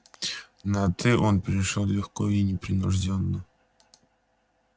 на ты он перешёл легко и непринуждённо